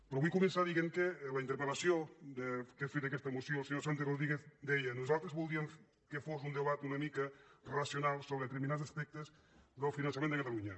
però vull començar dient que a la interpel·és fruit aquesta moció el senyor santi rodríguez deia nosaltres voldríem que fos un debat una mica racional sobre determinats aspectes del finançament de catalunya